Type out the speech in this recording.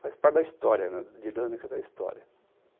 Faz parte da história, da dinâmica da história.